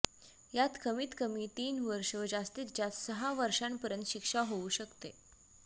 यात कमीत कमी तीन वर्ष व जास्तीत जास्त सहा वर्षापर्यंत शिक्षा होऊ शकते